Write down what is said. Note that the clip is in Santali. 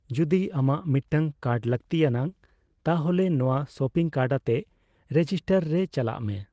ᱡᱩᱫᱤ ᱟᱢᱟᱜ ᱢᱤᱫᱴᱟᱝ ᱠᱟᱨᱰ ᱞᱟᱹᱠᱛᱤ ᱟᱱᱟᱜ, ᱛᱟᱦᱞᱮ ᱱᱚᱣᱟ ᱥᱚᱯᱤᱝ ᱠᱟᱨᱰ ᱟᱛᱮ ᱨᱮᱡᱤᱥᱴᱟᱨ ᱨᱮ ᱪᱟᱞᱟᱜᱢᱮ ᱾